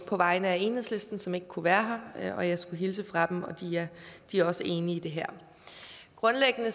på vegne af enhedslisten som ikke kunne være her jeg skulle hilse fra dem og de er også enige i det her grundlæggende